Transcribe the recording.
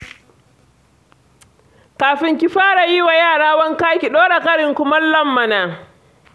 Kafin ki fara yi wa yara wanka ki ɗora karin kumallon mana.